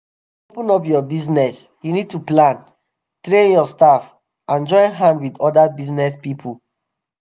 to open up your bizness you need to plan train your staff and join hand with oda biznes pipo.